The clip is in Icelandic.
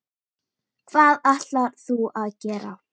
Hvað ætlar þú að gera?